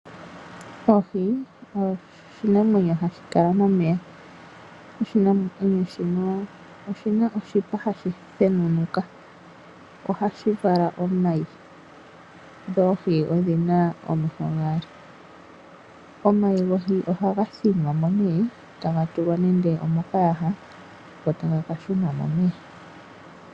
Oohi oshinamwenyo hashi kala momeya. Oshinamnweyo shino oshi na oshipa hashi thenunuka. Ohashi vala omayi. Dho oohi odhi na omeho gaali. Omayi gohi ohaga thinwa mo nee taga tulwa nande omokayaha go taga ka shunwa momeya.